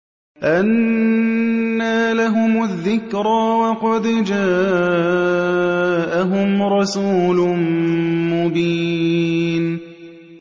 أَنَّىٰ لَهُمُ الذِّكْرَىٰ وَقَدْ جَاءَهُمْ رَسُولٌ مُّبِينٌ